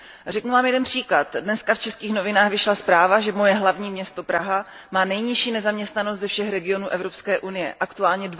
Řeknu vám jeden příklad, dnes v českých novinách vyšla zpráva, že hlavní město mé země, Praha, má nejnižší nezaměstnanost ze všech regionů Evropské unie, aktuálně